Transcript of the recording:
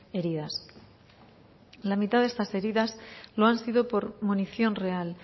heridas la mitad de estas heridas lo han sido por munición real